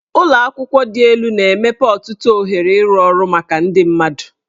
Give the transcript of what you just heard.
Ụlọ akwụkwọ dị elu na-emepe ọtụtụ ohere ịrụ ọrụ maka ndị mmadụ.